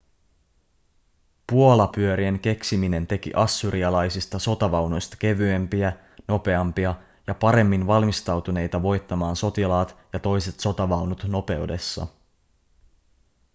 puolapyörien keksiminen teki assyrialaisista sotavaunuista kevyempiä nopeampia ja paremmin valmistautuneita voittamaan sotilaat ja toiset sotavaunut nopeudessa